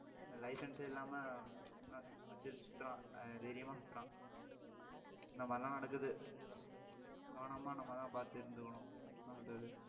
licence ஏ இல்லாம ஆஹ் வச்சிட்டு சுத்தறான் அஹ் தைரியமா சுத்தறான் இந்த மாதிரி எல்லாம் நடக்குது கவனமா நம்மதான் பாத்து இருந்துக்கணும்